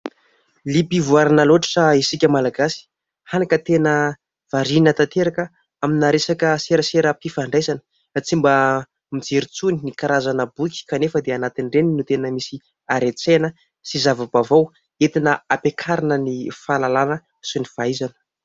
Liam-pivoarana loatra isika Malagasy; hany ka tena variana tanteraka amina resaka seraseram-pifandraisana. Tsy mba mijery intsony ny karazana boky kanefa dia anatin' ireny no tena misy haren-tsaina sy zava-baovao entina hampiakarana ny fahalalana sy ny fahaizana.